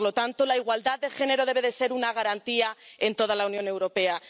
Por lo tanto, la igualdad de género debe ser una garantía en toda la Unión Europea.